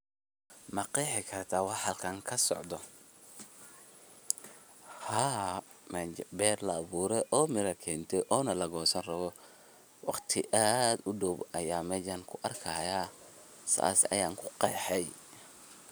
Ma qeexi karta waxa xalkan kasocdho? xaa ber laawure o mira kente ona laqosanrawo, waqti adh udow ayan meshan kuarkaya, sas ayan kuqexe.